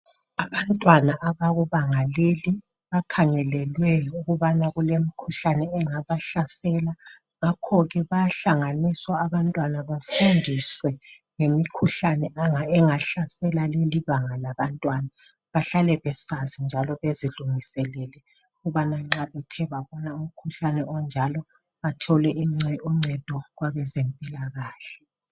Abantwana abakubanga leli bakhangelelwe ukubana kulemikhuhlane engabahlasela ngakhoke bayahlanganiswa abantwana bonalabo bafundiswe ngemikhuhlane engahlasela leli banga labantwana bahlale besazi njalo besilungiselele ukubana nxa bethe babona umkhuhlane onjalo bathole uncedo kwabezempilakahle.